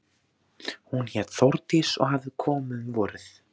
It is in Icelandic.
Hún hét Þórdís og hafði komið um vorið.